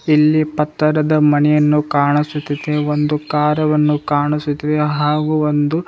ಇಲ್ಲಿ ಪತ್ತರದ ಮಣಿಯನ್ನು ಕಾಣಿಸುತ್ತಿದೆ ಒಂದು ಕಾರಾವನ್ನು ಕಾಣಿಸುತ್ತಿದೆ ಹಾಗು ಒಂದು --